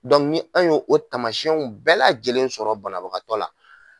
ni y'o o tamasiyɛnw bɛɛ lajɛlen sɔrɔ banabagatɔ la